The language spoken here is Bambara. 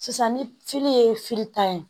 Sisan ni ye ta ye